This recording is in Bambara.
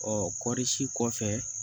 Ɔ kɔɔri si kɔfɛ